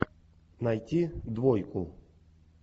найти двойку